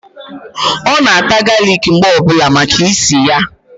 Ọ na-ata galic mgbe ọbụla maka ísì ya.